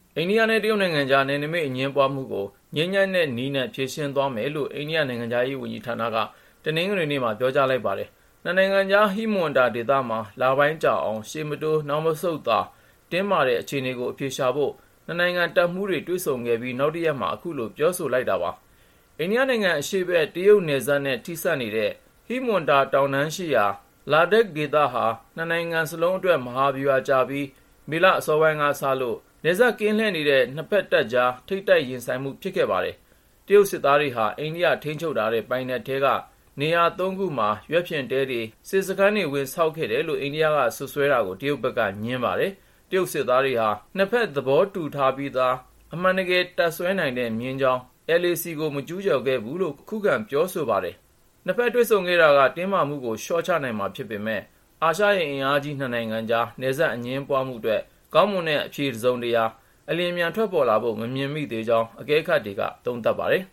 အိန္ဒိယနဲ့ တရုတ်နိုင်ငံကြား နယ်နိမိတ် အငြင်းပွားမှုကို ငြိမ်းချမ်းတဲ့နည်းနဲ့ ဖြေရှင်းသွားမယ်လို့ အိန္ဒိယနိုင်ငံခြားရေးဝန်ကြီးဌာနက တနင်္ဂနွေနေ့မှာ ပြောကြားလိုက်ပါတယ်။ နှစ်နိုင်ငံကြား ဟိမဝန္တာဒေသမှာ လပိုင်းကြာအောင် ရှေ့မတိုး နောက်မဆုတ်သာ တင်းမာနေတဲ့ အခြေအနေကို အဖြေရှာဖို့ နှစ်နိုင်ငံတပ်မှူးတွေ တွေ့ဆုံခဲ့ပြီး နောက်တရက်မှာပဲ အခုလို ပြောဆိုလိုက်တာပါ။ အိန္ဒိယနိုင်ငံအရှေ့ဘက် တရုတ်နဲ့ နယ်စပ် ထိစပ်နေတဲ့ ဟိမဝန္တာတောင်တန်းရှိရာ Ladakh ဒေသဟာ နှစ်နိုင်ငံစလုံးအတွက် မဟာဗျူဟာကျပြီး မေလ အစောပိုင်းကစလို့ နယ်စပ်ကင်းလှည့်နေတဲ့ နှစ်ဖက်စစ်တပ်ကြား ထိပ်တိုက်ရင်ဆိုင်မှု ဖြစ်ခဲ့တာပါ။ တရုတ်စစ်သားတွေဟာ အိန္ဒိယထိန်းချုပ်တဲ့ ပိုက်နက်ထဲက နေရာ ၃ ခုမှာ ယာယီရွက်ဖျင်တဲတွေ၊ စစ်စခန်းတွေ ဝင်ဆောက်ခဲ့တယ်လို့ အိန္ဒိယက စွပ်စွဲတာကို တရုတ်ဘက်က ငြင်းဆိုခဲ့ပါတယ်။ တရုတ်စစ်သားတွေဟာ နှစ်ဖက် သဘောတူထားပြီးသား အမှန်တကယ် တပ်စွဲနိုင်တဲ့ မျဉ်းကြောင်း LAC (Line of Actual Control) ကို မကျူးကျော်ခဲ့ဘူးလို့ ခုခံပြောဆိုပြီး အဲဒီဒေသမှာ တည်ငြိမ်မှု ရှိတယ်လို့လည်း ပြောပါတယ်။ နှစ်ဖက် တွေ့ဆုံခဲ့တာက တင်းမာမှုကို လျှော့ချနိုင်မှာဖြစ်ပေမယ့် အာရှရဲ့ အင်အားကြီး နှစ်နိုင်ငံကြား နယ်စပ်အငြင်းပွားမှုအတွက် ကောင်းမွန်တဲ့အဖြေ တစုံတရာ အလျှင်အမြန် ထွက်ပေါ်လာဖို့ မမြင်မိသေးကြောင်း အကဲခတ်တွေက သုံးသပ်ပါတယ်